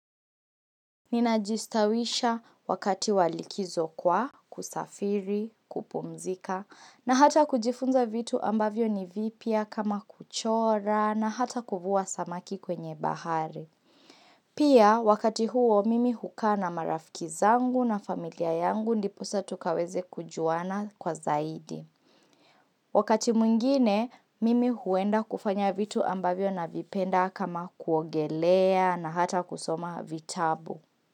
Ninajistawisha wakati wa likizo kwa, kusafiri, kupumzika, na hata kujifunza vitu ambavyo ni vipya kama kuchora na hata kuvua samaki kwenye bahari. Pia wakati huo mimi hukaa na marafiki zangu na familia yangu ndiposa tukaweze kujuana kwa zaidi. Wakati mwingine mimi huenda kufanya vitu ambavyo navipenda kama kuogelea na hata kusoma vitabu.